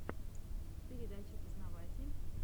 передача познаватель